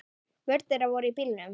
Börn þeirra voru í bílnum.